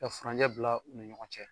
Ka furancɛ bila u ni ɲɔgɔn cɛ.